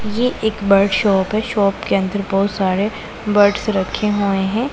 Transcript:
ये एक bird shop है शॉप के अंदर बहुत सारे बर्ड्स रखे हुए हैं।